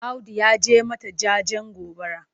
Audu ya je mata jajen gobara.